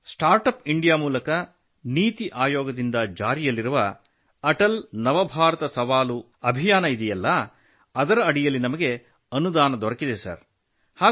sir startup India ಮೂಲಕ ನೀತಿ ಆಯೋಗದಿಂದ ಜಾರಿಯಲ್ಲಿರುವ ಅಟಲ್ ನವಭಾರತ ಸವಾಲು ಅಭಿಯಾನವಿದೆಯಲ್ಲ ಅದರ ಅಡಿಯಲ್ಲಿ ನಮಗೆ ಅನುದಾನ ದೊರೆತಿದೆ